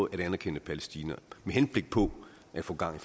at anerkende palæstina med henblik på at få gang